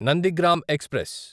Nandigram express